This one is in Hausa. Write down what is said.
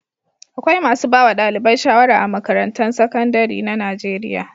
Akwai masu ba wa ɗalibai shawara a makarantun sakandare na Najeriya.